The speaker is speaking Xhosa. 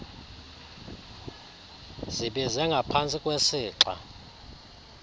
zibize ngapantsi kwesixa